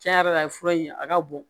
Cɛn yɛrɛ la a ye fura in a ka bon